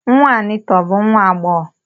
Nwa Anita ọ bụ nwa agbọghọ?